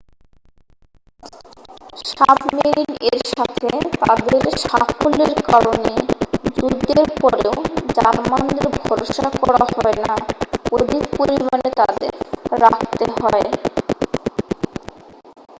submarine এর সাথে তাদের সাফল্যের কারণে যুদ্ধের পরেও জার্মানদের ভরসা করা হয় না অধিক পরিমানে তাদের রাখতে